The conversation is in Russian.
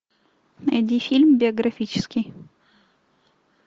найди фильм биографический